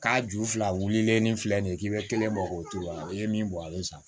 K'a ju fila wulilen ni filɛ nin ye k'i be kelen bɔ k'o to ye i ye min bɔ ale san